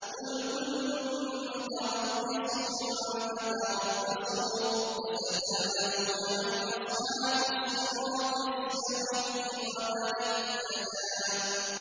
قُلْ كُلٌّ مُّتَرَبِّصٌ فَتَرَبَّصُوا ۖ فَسَتَعْلَمُونَ مَنْ أَصْحَابُ الصِّرَاطِ السَّوِيِّ وَمَنِ اهْتَدَىٰ